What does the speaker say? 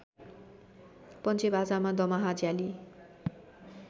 पञ्चेबाजामा दमाहा झयाली